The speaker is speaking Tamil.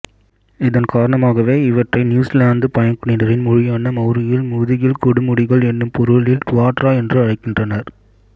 இதன் காரணமாகவே இவற்றை நியூசிலாந்துப் பழங்குடியினரின் மொழியான மௌரியில் முதுகில் கொடுமுடிகள் எனும் பொருளில் டுவாட்டரா என்று அழைக்கின்றனர்